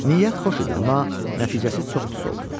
Niyyət xoş idi, amma nəticəsi çox pis oldu.